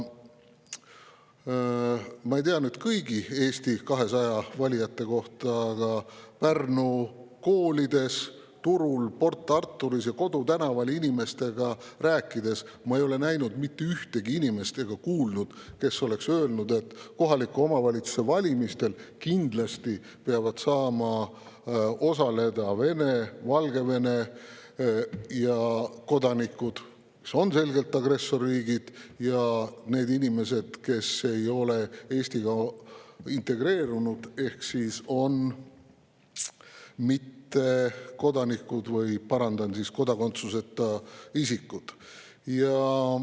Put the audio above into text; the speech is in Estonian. Ma ei tea seda kõigi Eesti 200 valijate kohta, aga Pärnu koolides, turul, Port Arturis ja kodutänaval inimestega rääkides ei ole ma näinud mitte ühtegi sellist inimest ega kuulnud kedagi, kes oleks öelnud, et kohaliku omavalitsuse valimistel peavad kindlasti saama osaleda Vene ja Valgevene kodanikud, kui need riigid on selgelt agressorriigid, ja need inimesed, kes ei ole Eestisse integreerunud, ehk on kodakondsuseta isikud.